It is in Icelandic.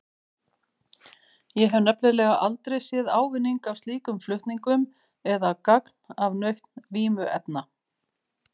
Ég hef nefnilega aldrei séð ávinning af slíkum flutningum eða gagn af nautn vímuefna.